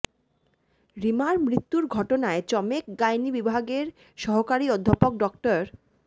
রীমার মৃত্যুর ঘটনায় চমেক গাইনী বিভাগের সহকারী অধ্যাপক ড